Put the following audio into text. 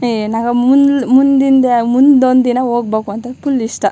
ಏಯ್ ನಂ ಮುಂದಿಂದ ಮುಂದ್ ಒಂದ್ ದಿನ ಹೋಗಬೇಕು ಅಂತ ಫುಲ್ ಇಷ್ಟಾ.